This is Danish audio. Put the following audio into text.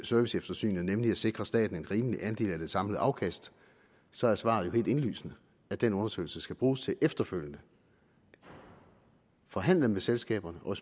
serviceeftersynet nemlig at sikre staten en rimelig andel af det samlede afkast så er svaret jo helt indlysende hvad den undersøgelse skal bruges til efterfølgende forhandle med selskaberne og